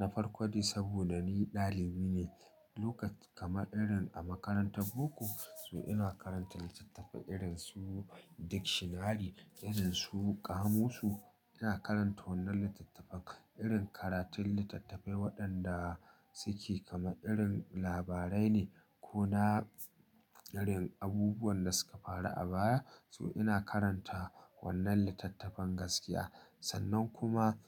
na farko dai saboda ni ɗalibi ne. Lokat kamar irin a makarantar boko so ina karanta littattafai irin su dictionary irin su kamusu. Ina karanta wannan littattafan irin karatun littattafai waɗanda suke kamar irin labarai ne ko na irin abubuwan da suka faru a baya. So ina karanta wannan littattafan gaskiya. Sannan kuma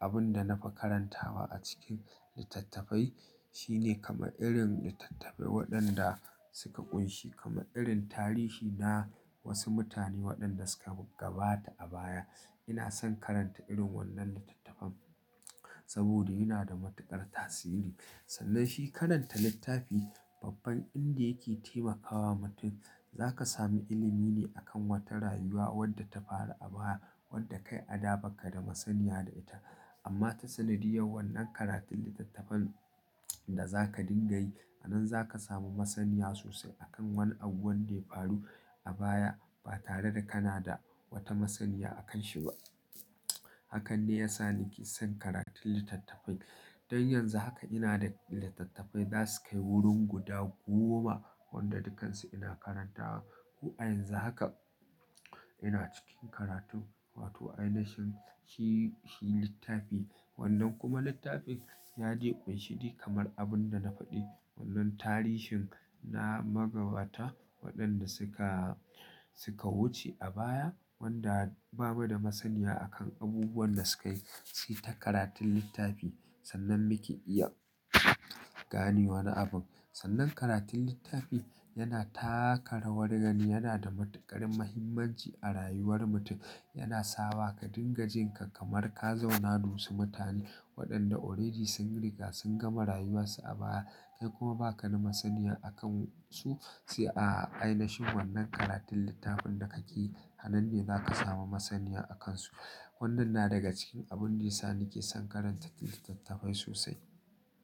abin da na fi karantawa a cikin littattafai shine kama irin littattafai waɗanda suka ƙunshi kama irin tarihi na wasu mutane waɗanda suka gabata a baya. Ina son karanta irin wannan littattafan saboda yana da matuƙar tasiri. Sannan shi karanta littafi babban inda yake taimakawa mutum zaka sami ilimi ne akan wata rayuwa wadda ta faru a baya wadda kai a da ba ka da masaniya da ita. Amma ta sanadiyar wannan karatun littattafan da za ka dinga yi a nan za ka samu masaniya sosai akan wani abu wanda ya faru a baya ba tare da kana da wata masaniya a kan shi ba. Hakan ne ya sa nake son karatun littattafai. Don yanzu haka ina da littattafai za su kai wurin guda goma wanda dukansu ina karantawa. Ko a yanzu haka ina cikin karatun wato a ina shin shi, shi littafi wannan kuma littafin ya de ƙunshi dik kamar abin da na faɗi wannan tarihin na magabata waɗanda suka, suka wuce a baya wanda bamu da masaniya a kan abubuwan da suka yi. Sai ta karatun littafi sannan muke iya gane wani abu. Sannan karatun littafi yana taka rawar gani yana da matuƙar muhimmanci a rayuwar mutum. Yana sawa ka dinga jin ka kamar ka zauna da wasu mutane waɗanda already sun riga sun gama rayuwarsu a baya kai kuma ba ka da masaniya a kan su. Sai a, a ainishin wannan karatun littafin da kake yi anan ne za ka samu masaniya a kan su. Wannan na daga cikin abun da ya sa nake son karanta littattafai sosai.